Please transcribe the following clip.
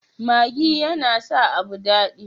Maggi yana sa abu dadi.